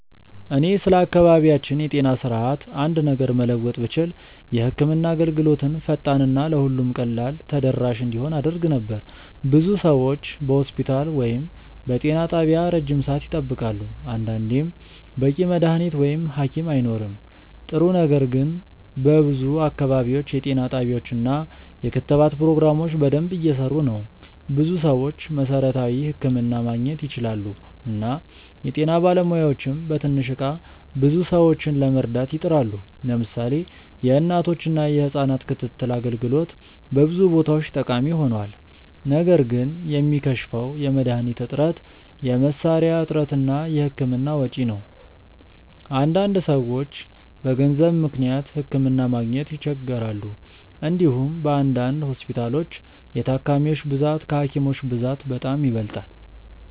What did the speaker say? እኔ ስለ አካባቢያችን የጤና ስርዓት አንድ ነገር መለወጥ ብችል የህክምና አገልግሎትን ፈጣን እና ለሁሉም ቀላል ተደራሽ እንዲሆን አደርግ ነበር። ብዙ ሰዎች በሆስፒታል ወይም በጤና ጣቢያ ረጅም ሰዓት ይጠብቃሉ፣ አንዳንዴም በቂ መድሀኒት ወይም ሀኪም አይኖርም። ጥሩ ነገር ግን በብዙ አካባቢዎች የጤና ጣቢያዎች እና የክትባት ፕሮግራሞች በደንብ እየሰሩ ናቸው። ብዙ ሰዎች መሠረታዊ ሕክምና ማግኘት ይችላሉ እና የጤና ባለሙያዎችም በትንሽ እቃ ብዙ ሰዎችን ለመርዳት ይጥራሉ። ለምሳሌ የእናቶችና የህጻናት ክትትል አገልግሎት በብዙ ቦታዎች ጠቃሚ ሆኗል። ነገር ግን የሚከሽፈው የመድሀኒት እጥረት፣ የመሳሪያ እጥረት እና የህክምና ወጪ ነው። አንዳንድ ሰዎች በገንዘብ ምክንያት ሕክምና ማግኘት ይቸገራሉ። እንዲሁም በአንዳንድ ሆስፒታሎች የታካሚዎች ብዛት ከሀኪሞች ብዛት በጣም ይበልጣል።